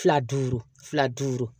Fila duuru fila duuru